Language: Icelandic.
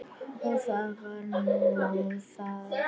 Og það var nú það.